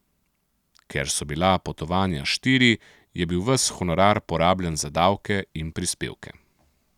Ker so bila potovanja štiri, je bil ves honorar porabljen za davke in prispevke.